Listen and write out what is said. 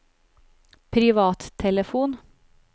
privattelefon